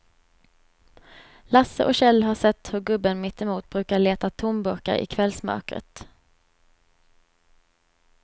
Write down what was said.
Lasse och Kjell har sett hur gubben mittemot brukar leta tomburkar i kvällsmörkret.